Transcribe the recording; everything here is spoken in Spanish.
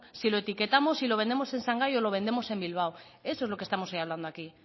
si lo etiquetamos y lo vendemos en shanghai o lo vendemos en bilbao eso es lo que estamos hoy hablando aquí